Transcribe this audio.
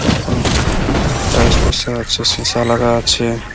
তার কোন টাইলস বসা আছে সিসা লাগানো আছে।